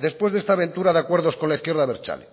después de esta aventura de acuerdos con la izquierda abertzale